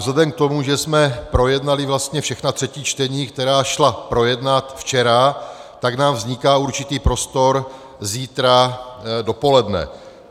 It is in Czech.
Vzhledem k tomu, že jsme projednali vlastně všechna třetí čtení, která šla projednat včera, tak nám vzniká určitý prostor zítra dopoledne.